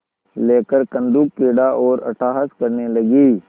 लेकर कंदुकक्रीड़ा और अट्टहास करने लगी